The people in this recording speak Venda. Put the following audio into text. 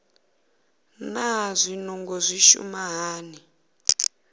naa zwinungo zwi shuma hani